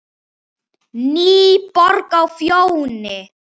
NÝBORG Á FJÓNI